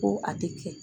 Ko a tɛ kɛ